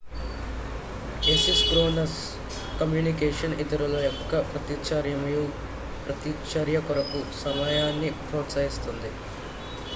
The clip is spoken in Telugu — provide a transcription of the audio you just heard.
ఎసిన్క్రోనస్ కమ్యూనికేషన్ ఇతరుల యొక్క ప్రతిచర్యమరియు ప్రతిచర్యకొరకు సమయాన్ని ప్రోత్సహిస్తుంది